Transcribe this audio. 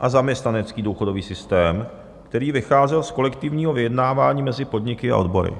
a zaměstnanecký důchodový systém, který vycházel z kolektivního vyjednávání mezi podniky a odbory.